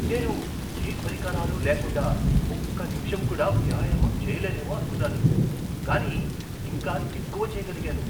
నేను ఏ పరికరాలు లేకుండా ఒక్క నిమిషం కూడా వ్యాయామం చేయలేనేమో అనుకున్నాను, కాని ఇంకా ఎక్కువ చేయగలిగాను.